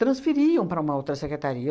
transferiam para uma outra secretaria.